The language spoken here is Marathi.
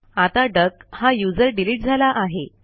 आता डक हा यूझर डिलीट झाला आहे